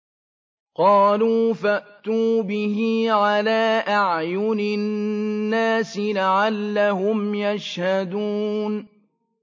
قَالُوا فَأْتُوا بِهِ عَلَىٰ أَعْيُنِ النَّاسِ لَعَلَّهُمْ يَشْهَدُونَ